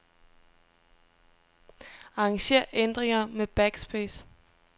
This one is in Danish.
Arranger ændringer med backspace.